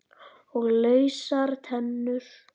Og lausar tennur!